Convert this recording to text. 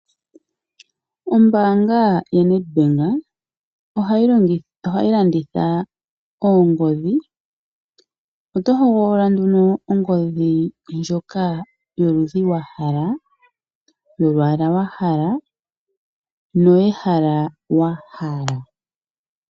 Ombanga yoNed ohayi landitha oongodhi, oto hogolola ongodhi ndjoka yoludhi wa hala, yolwaala ndoka wa hala noye hala wa hala.